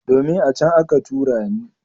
Domin, a can aka tura ni.